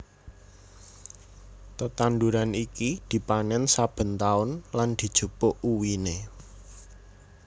Tetanduran iki dipanèn saben taun lan dijupuk uwiné